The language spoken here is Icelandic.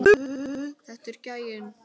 Þetta er gæinn!